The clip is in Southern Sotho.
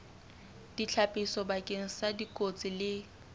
ditlhapiso bakeng sa dikotsi le